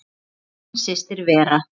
Þín systir Vera.